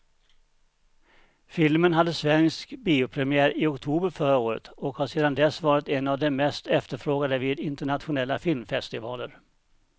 Filmen hade svensk biopremiär i oktober förra året och har sedan dess varit en av de mest efterfrågade vid internationella filmfestivaler.